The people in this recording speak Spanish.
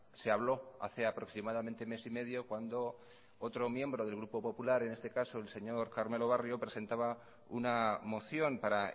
se habló hace aproximadamente mes y medio cuando otro miembro del grupo popular en este caso el señor carmelo barrio presentaba una moción para